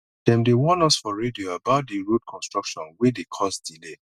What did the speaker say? dem dey warn us for radio about di road construction wey dey cause delay